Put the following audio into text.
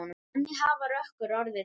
Þannig hafi Rökkur orðið til.